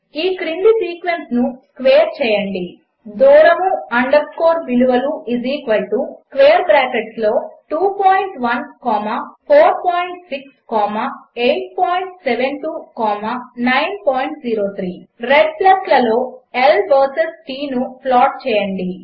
ఈ క్రింది సీక్వెన్స్ను స్క్వేర్ చేయండి దూరము అండర్ స్కోర్ విలువలు స్క్వేర్ బ్రాకెట్లలో 21 కామా 46 కామా 872 కామా 903 1 రెడ్ ప్లస్లలో L వర్సెస్ T ను ప్లాట్ చేయండి